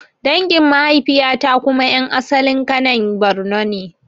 Dangin mahaifiya ta kuma ƴan asalin Kanen Bornn ne